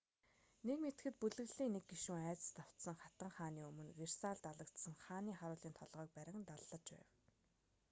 нэг мэдэхэд бүлэглэлийн нэг гишүүн айдаст автсан хатан хааны өмнө версальд алагдсан хааны харуулын толгойг барин даллаж байв